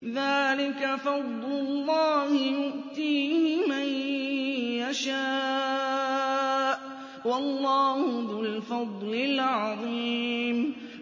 ذَٰلِكَ فَضْلُ اللَّهِ يُؤْتِيهِ مَن يَشَاءُ ۚ وَاللَّهُ ذُو الْفَضْلِ الْعَظِيمِ